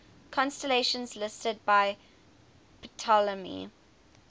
constellations listed by ptolemy